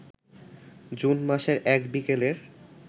June মাসের এক বিকেলের